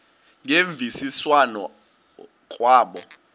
ngemvisiswano r kwabo